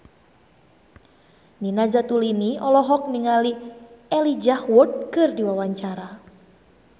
Nina Zatulini olohok ningali Elijah Wood keur diwawancara